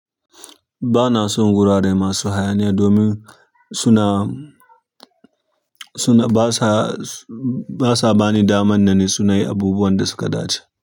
Ba na son wurare masu hayaniya domin suna, suna basa, basa bani daman na nitsu na yi abubuwan da suka dace.